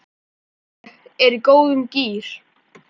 Ég er í góðum gír.